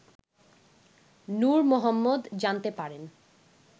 নূর মোহাম্মদ জানতে পারেন